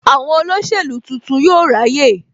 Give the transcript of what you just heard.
Àwọn olóṣèlú tuntun yóò ráyè